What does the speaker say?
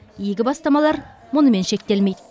игі бастамалар мұнымен шектелмейді